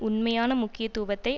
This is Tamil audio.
உண்மையான முக்கியத்துவத்தை